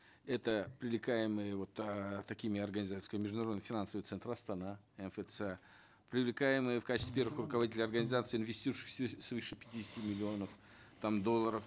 это привлекаемые вот эээ такими организациями как международный финансовый центр астана мфц привлекаемые в качестве первых руководителей организаций инвестирующих свыше пятидесяти миллионов там долларов